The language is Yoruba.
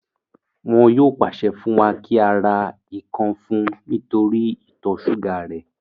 Wọn yóò pàṣẹ fún wa kí á ra ikàn fún un nítorí ìtọ̀ súgà rẹ̀